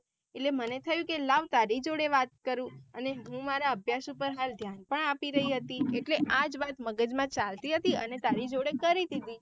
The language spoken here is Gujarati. એટલે મને થાય કે લવ તારી જોડે વાત કરું અને હું મારા અભ્યાસ ઉપર હાલ ધ્યાન પણ આપી રહી હતી એટલે આજ વાત મગજ માં ચાલતી હતી અને તારી જોડે કરી દીધી.